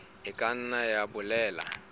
e ka nna ya bolela